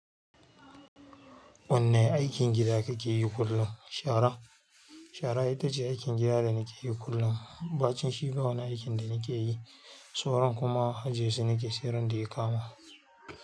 Wanne aikin gida kake yi kullum? Shara. Shara ita ce aikin gida da nake yi kullum. Ɓacin shi ba wani aikin danake. Sauran kuma ajiye su nake, sai ran da ya kama.